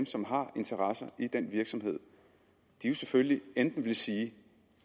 som har interesser i den virksomhed selvfølgelig enten vil sige